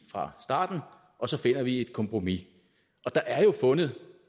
fra starten og så finder vi et kompromis og der er jo fundet